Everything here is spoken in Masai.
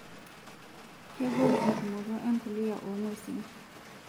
Kegol entumoto empuliya oong'wesin.